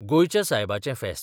गोंयच्या सायबाचें फेस्त